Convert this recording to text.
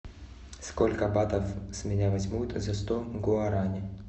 сколько батов с меня возьмут за сто гуарани